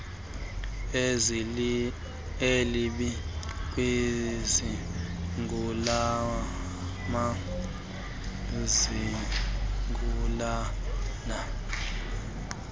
elibi kwizigulana izigulana